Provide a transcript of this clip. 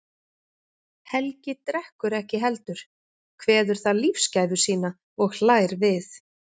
Helgi drekkur ekki heldur, kveður það lífsgæfu sína og hlær við.